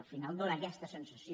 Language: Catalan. al final fa aquesta sensació